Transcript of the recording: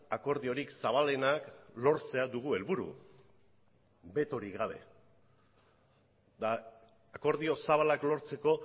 akordiorik zabalenak lortzea dugu helburu betorik gabe eta akordio zabalak lortzeko